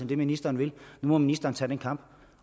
det ministeren vil nu må ministeren tage den kamp